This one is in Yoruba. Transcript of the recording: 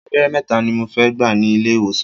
Abẹ́rẹ́ mẹ́ta ni mo fẹ́ gbà ní ilé ìwòsàn.